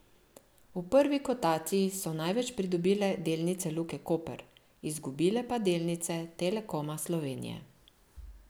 V prvi kotaciji so največ pridobile delnice Luke Koper, izgubile pa delnice Telekoma Slovenije.